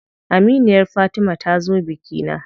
Aminiyar Fatima ta zo bikina.